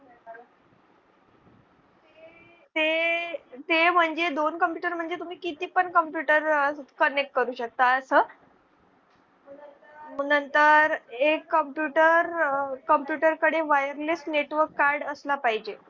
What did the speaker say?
ते म्हणजे दोन computer म्हणजे तुम्ही किती पण computer connect करू शकता असं. नंतर एक computer computer कडे wireless network card असला पाहिजे.